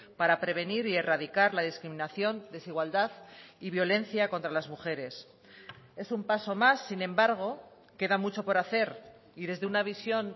para prevenir y erradicar la discriminación desigualdad y violencia contra las mujeres es un paso más sin embargo queda mucho por hacer y desde una visión